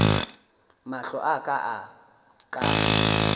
mahlo a ka a ka